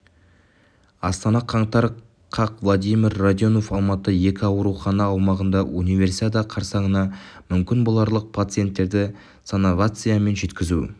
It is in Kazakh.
астана қаңтар қаз владимир радионов алматыдағы екі аурухана аумағында универсиада қарсаңына мүмкін боларлық пациенттерді санавиациямен жеткізу